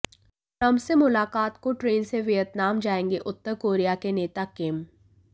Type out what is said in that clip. Trump से मुलाकात को ट्रेन से वियतनाम जाएंगे उत्तर कोरिया के नेता किम